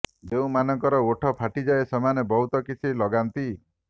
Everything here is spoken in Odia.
ଯେଉଁ ମାନଙ୍କର ଓଠ ଫାଟିଯାଏ ସେମାନେ ବହୁତ କିଛି ଲଗାନ୍ତି